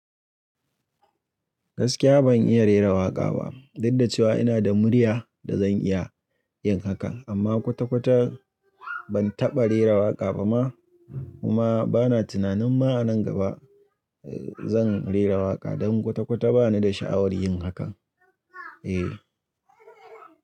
Gaskiya ban iya rera waƙa ba, duk da cewa ina da murya da zan iya yin hakan amma kwata-kwata ban taɓa rera waƙa ba ma kuma bana tunanin ma a nan gaba zan rera waƙa don kwata-kwata ba ni da sha'awar yin hakan. E.